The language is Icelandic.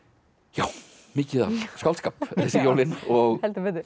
já mikið af skáldskap þessi jólin og